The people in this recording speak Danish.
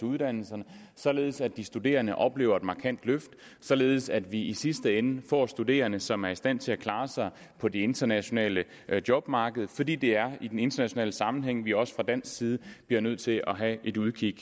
uddannelserne således at de studerende oplever et markant løft og således at vi i sidste ende får studerende som er i stand til at klare sig på det internationale jobmarked fordi det er i den internationale sammenhæng at vi også fra dansk side bliver nødt til at have et udkig